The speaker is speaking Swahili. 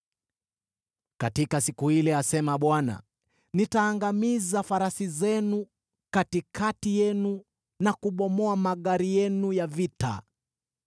“Katika siku ile,” asema Bwana , “nitaangamiza farasi zenu katikati yenu na kubomoa magari yenu ya vita.